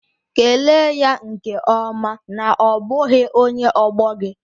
Kelee ya nke ọma na ọ bụghị onye ọgbọ gị